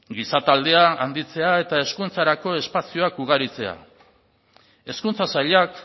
giza taldea handitzea eta hezkuntzarako espazioak ugaritzea hezkuntza sailak